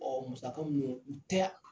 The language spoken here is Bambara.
musaka munnu yɛ u tɛ k